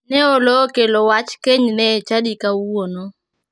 Ne oloo okelo wach kenyne e chadi kawuono.